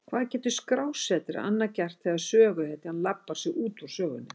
Hvað getur skrásetjari annað gert þegar söguhetjan labbar sig út úr sögunni?